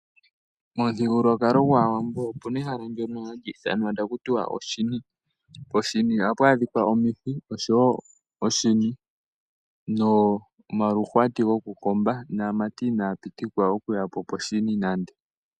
Mo muthigululwakalo gwawambo opena ehala ndoka hali ithanwa akuti oshini. Poshini ohapu adhika omihhi oshowo oshini momaluhwati gwokukomba ,namati inaya pitikwa oku yapo poshini nande.